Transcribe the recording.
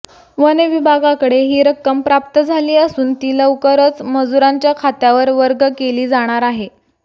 one विभागाकडे ही रक्कम प्राप्त झाली असून ती लवकरच मजुरांच्या खात्यावर वर्ग केली जाणार आहे